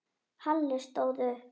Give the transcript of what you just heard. Halli stóð upp.